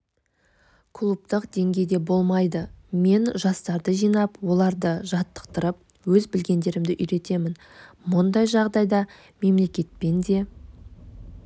клубтық деңгейде болмайды мен жастарды жинап оларды жаттықтырып өз білгендерімді үйретемін мұндай жағдайда мемлекетпен де